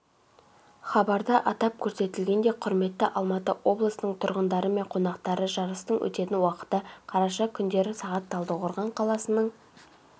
хабарда атап көрсетілгендей құрметті алматыоблысының тұрғындары мен қонақтары жарыстың өтетін уақыты қараша күндері сағат талдықорған қаласының